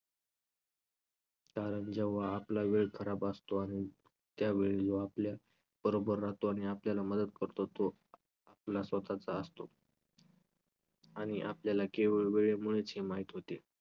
कारण जेव्हा आपला वेळ खराब असतो आण~ त्यावेळी जो आपल्या बरोबर राहतो आणि आपल्याला मदत करतो तो आपला स्वतःचा असतो. आणि आपल्याला केवळ वेळेमुळेच हे माहित होते.